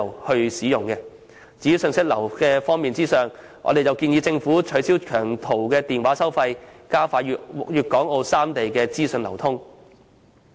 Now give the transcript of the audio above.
在信息流方面，我們建議政府取消長途電話收費，藉以加快粵港澳三地的資訊流通。